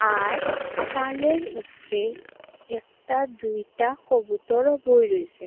আর সালের উফরে একটা দুইটা কবুতরও বয়ে রয়েসে।